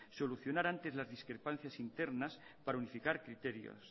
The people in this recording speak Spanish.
solucionar antes las discrepancias internas para unificar criterios